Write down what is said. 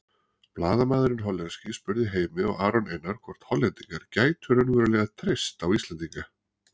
Blaðamaðurinn hollenski spurði Heimi og Aron Einar hvort Hollendingar gætu raunverulega treyst á Íslendinga.